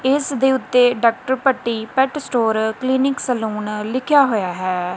ਇੱਸ ਦੇ ਓੱਤੇ doctor Bhatti pet store clinic salon ਲਿਖੇਆ ਹੋਇਆ ਹੈ।